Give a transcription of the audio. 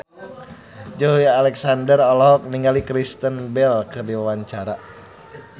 Joey Alexander olohok ningali Kristen Bell keur diwawancara